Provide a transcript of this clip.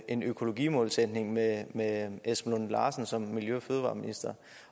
en økologimålsætning med med esben lunde larsen som miljø og fødevareminister